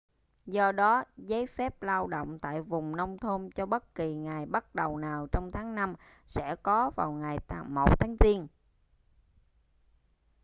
do đó giấy phép lao động tại vùng nông thôn cho bất kỳ ngày bắt đầu nào trong tháng năm sẽ có vào ngày 1 tháng giêng